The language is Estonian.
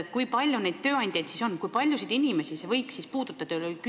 Kui palju neid tööandjaid siis on, kui paljusid inimesi see võiks puudutada?